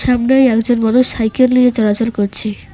সামনেই একজন মানুষ সাইকেল নিয়ে চলাচল করছে।